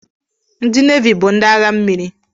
Ndi navi bu ndi agha mmiri.